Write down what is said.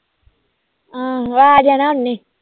ਆ ਅਵਾਜ ਨੀ ਆਉਂਦੀ